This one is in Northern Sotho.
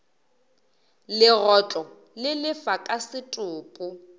legotlo le lefa ka setopo